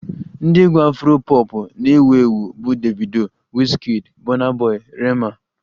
Ndị egwu Afro pọpụ na-ewu ewu bụ Davido, Wizkid, Bọna bọi, Rema